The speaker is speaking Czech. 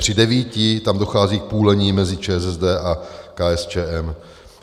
Při devíti tam dochází k půlení mezi ČSSD a KSČM.